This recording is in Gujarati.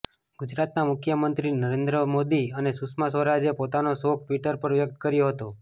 ગુજરાતના મુખ્ય મંત્રી નરેન્દ્ર મોદી અને સુષ્મા સ્વરાજે પોતાનો શોક ટ્વિટર પર વ્યક્ત કર્યો હતો